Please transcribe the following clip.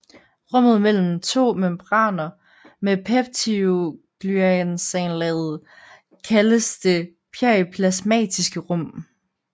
Rummet mellem de to membraner med peptidoglycanlaget kaldes det periplasmatiske rum